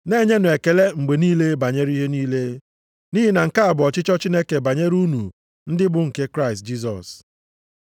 Na-enyenụ ekele mgbe niile banyere ihe niile, nʼihi na nke a bụ ọchịchọ Chineke banyere unu ndị bụ nke Kraịst Jisọs.